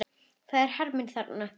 Það eru hermenn þar, jú.